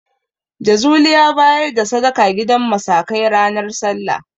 Jazuli ya bayar da sadaka gidan musakai ranar Sallah.